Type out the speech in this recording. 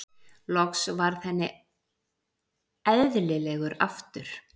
Loks varð henn elðilegur aftur.